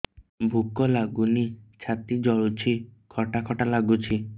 ଭୁକ ଲାଗୁନି ଛାତି ଜଳୁଛି ଖଟା ଖଟା ଲାଗୁଛି